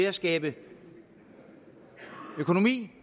at skabe økonomi